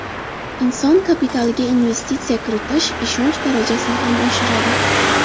Inson kapitaliga investitsiya kiritish ishonch darajasini ham oshiradi.